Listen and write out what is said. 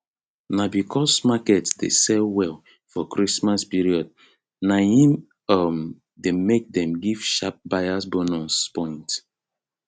na because market dey sell well for christmas period na im um dey make dem give sharp buyers bonus points